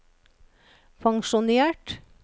pensjonert